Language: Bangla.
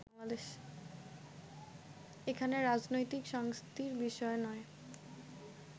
এখানে রাজনৈতিক সংস্কৃতির বিষয় নয়